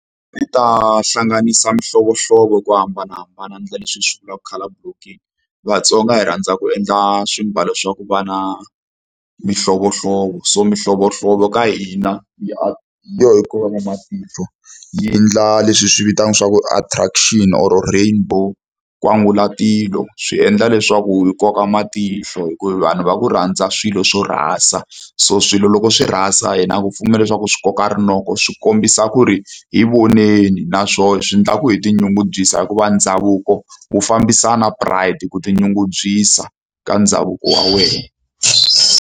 I ta hlanganisa mihlovohlovo hi ku hambanahambana a endla leswi hi swi vulaka colour blocking vatsonga hi rhandza ku endla swimbalo swa ku va na mihlovohlovo so mihlovohlovo ka hina hi yo yi kokaka matihlo yi endla leswi hi swi vitanaka swa ku attraction or rainbow nkwangulatilo swi endla leswaku yi koka matihlo hi ku hi vanhu va ku rhandza swilo swo rasa so swilo loko swi rasa hina ku pfumela leswaku swi koka rinoko swi kombisa ku ri hi voneni naswona swi endla ku hi tinyungubyisa hikuva ndhavuko wu fambisana pride ku tinyungubyisa ka ndhavuko wa wena.